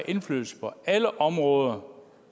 indflydelse på alle områder